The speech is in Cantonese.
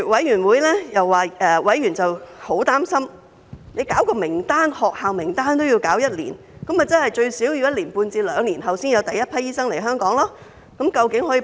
然後，委員十分擔心，因為政府擬備學校名單也得花上一年，換言之，最少一年半至兩年後才有第一批醫生來到香港。